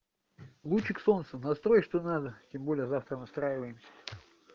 лучик солнца настрой что надо тем более завтра настраиваемся